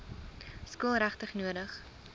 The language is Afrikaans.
skool regtig nodig